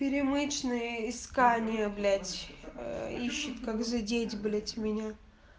пеермычные искания блять ищет как задеть блять меня